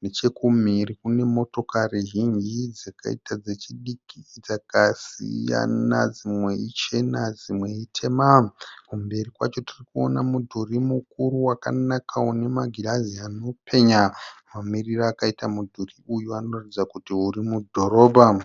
nechekumhiri kune motokari zhinji dzakaita dzechidiki dzakasiyana, dzimwe ichena dzimwe itema, kumberi kwacho tirikuona mudhuri mukuru wakanaka une magirazi anopenya, mamiriro akaita mudhuri uyu anoratidza kuti uri mudhorobha.